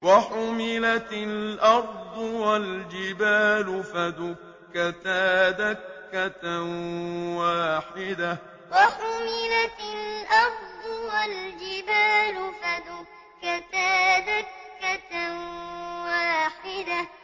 وَحُمِلَتِ الْأَرْضُ وَالْجِبَالُ فَدُكَّتَا دَكَّةً وَاحِدَةً وَحُمِلَتِ الْأَرْضُ وَالْجِبَالُ فَدُكَّتَا دَكَّةً وَاحِدَةً